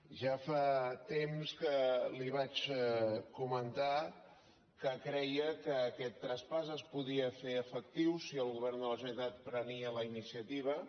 ja fa temps que li vaig comentar que creia que aquest traspàs es podia fer efectiu si el govern de la generalitat prenia la iniciativa